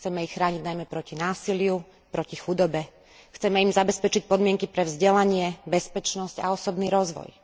Chceme ich chrániť najmä proti násiliu, proti chudobe, chceme im zabezpečiť podmienky pre vzdelanie, bezpečnosť a osobný rozvoj.